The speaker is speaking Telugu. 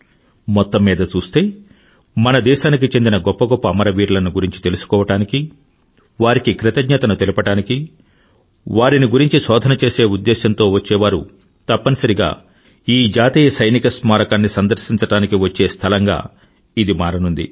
మెత్తం మీద చూస్తే మన దేశానికి చెందిన గొప్ప గొప్ప అమరవీరులను గురించి తెలుసుకోవడానికి వారికి కృతజ్ఞతను తెలుపడానికి వారిని గురించి శోధన చేసే ఉద్దేశంతో వచ్చేవారు తప్పనిసరిగా ఈ జాతీయ సైనిక స్మారకాన్ని సందర్శించడానికి వచ్చే స్థలంగా ఇది మారనుంది